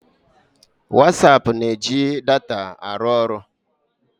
Whatsaap na-eji data arụ ọrụ.